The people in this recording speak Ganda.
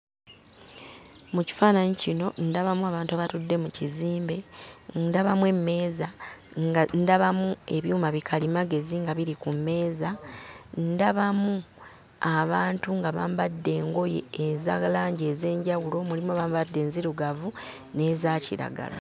Mu kifaananyi kino ndabamu abantu abatudde mu kizimbe, ndabamu emmeeza, nga ndabamu ebyuma bikalimagezi nga biri ku mmeeza, ndabamu abantu nga bambadde engoye eza langi ez'enjawulo; mulimu abambadde enzirugavu n'eza kiragala.